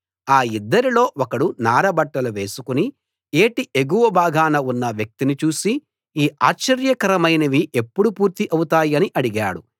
ఆ యిద్దరిలో ఒకడు నార బట్టలు వేసుకుని ఏటి ఎగువ భాగాన ఉన్న వ్యక్తిని చూసి ఈ ఆశ్చర్యకరమైనవి ఎప్పుడు పూర్తి అవుతాయని అడిగాడు